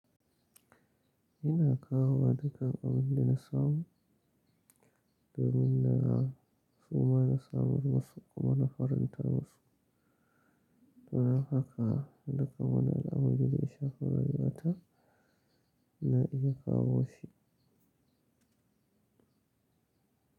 Ina kawowa dukkan abin da na samu domin da a suma na samun masu kuma na faranta masu. Don haka duka wani alamun da za a shaƙura, ribata na iya kawo shi.